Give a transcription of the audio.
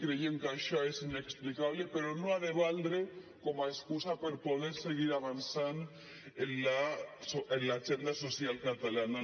creiem que això és inexplicable però no ha de valdre com a excusa per no poder seguir avançant en l’agenda social catalana